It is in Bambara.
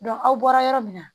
aw bɔra yɔrɔ min na